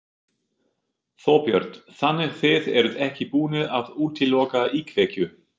Þorbjörn: Þannig þið eruð ekki búnir að útiloka íkveikju?